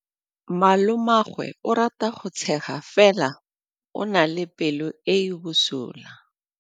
Malomagwe o rata go tshega fela o na le pelo e e bosula.